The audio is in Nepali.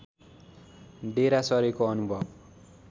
डेरा सरेको अनुभव